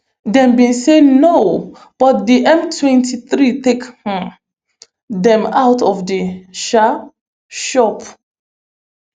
dem bin say no but di mtwenty-three take um dem out of di um shop